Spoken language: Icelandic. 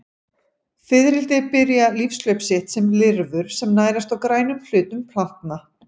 Fiðrildi byrja lífshlaup sitt sem lirfur sem nærast á grænum hlutum plantna.